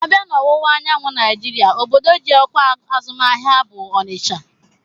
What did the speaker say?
A bịa na ọwụwa anyanwụ Naijiria obodo ji ọkwa azụmahịa bụ Ọnịcha